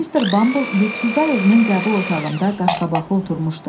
Mister Bumble yurdsuzlar evinin qəbul otağında qaşqabaqlı oturmuşdu.